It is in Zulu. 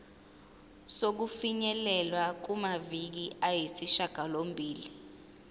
sokufinyelela kumaviki ayisishagalombili